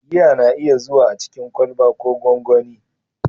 Giya na iya zuwa a cikin kwalba ko gonggoni.